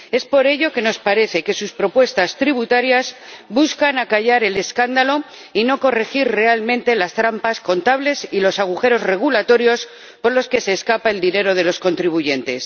Por ello nos parece que sus propuestas tributarias buscan acallar el escándalo y no corregir realmente las trampas contables y los agujeros regulatorios por los que se escapa el dinero de los contribuyentes.